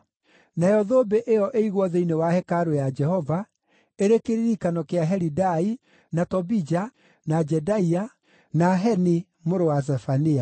Nayo thũmbĩ ĩyo ĩigwo thĩinĩ wa hekarũ ya Jehova, ĩrĩ kĩririkano kĩa Helidai, na Tobija, na Jedaia, na Heni mũrũ wa Zefania.